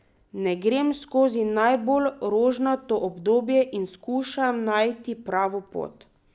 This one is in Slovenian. Ne grem skozi najbolj rožnato obdobje in skušam najti pravo pot.